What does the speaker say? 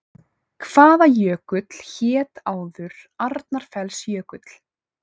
Hvaða jökull hét áður Arnarfellsjökull?